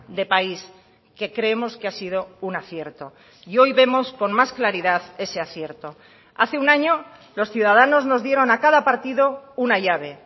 de país que creemos que ha sido un acierto y hoy vemos con más claridad ese acierto hace un año los ciudadanos nos dieron a cada partido una llave